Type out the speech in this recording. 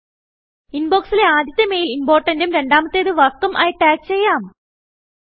ഇൻബൊക്സിലെ ആദ്യത്തെ മെയിൽ Importantഉം രണ്ടാമത്തേത് Workഉം ആയി ടാഗ് ചെയ്യാം